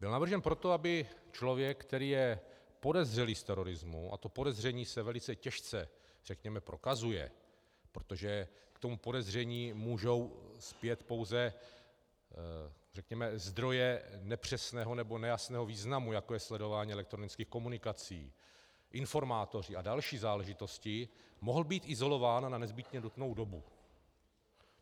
Byl navržen proto, aby člověk, který je podezřelý z terorismu, a to podezření se velice těžce řekněme prokazuje, protože k tomu podezření můžou spět pouze řekněme zdroje nepřesného nebo nejasného významu, jako je sledování elektronických komunikací, informátoři a další záležitosti, mohl být izolován na nezbytně nutnou dobu.